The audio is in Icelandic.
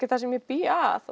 það sem ég bý að